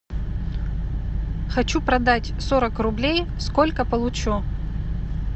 хочу продать сорок рублей сколько получу